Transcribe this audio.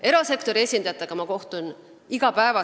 Erasektori esindajatega kohtun ma iga päev.